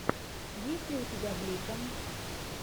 есть ли у тебя блико